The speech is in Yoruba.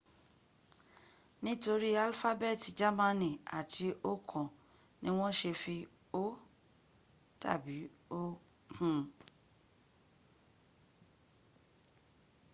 nitori alfabeeti jamani ati okan ni won se fi õ/õ” kun